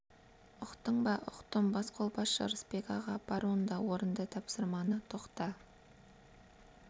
ұқтың ба ұқтым басқолбасшы ырысбек аға бар онда орында тапсырманы тоқта